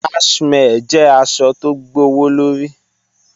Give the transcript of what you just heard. Cashmere jẹ̀ àṣọ̀ tó gbọwọ̀lọ̀rí.